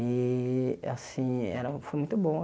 E, assim era, foi muito bom.